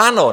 Ano.